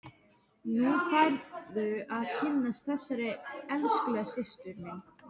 Nú færðu að kynnast þessari elskulegu systur minni!